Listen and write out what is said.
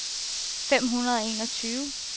fem hundrede og enogtyve